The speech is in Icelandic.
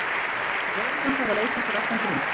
En lögreglan þarf að leita af sér allan grun.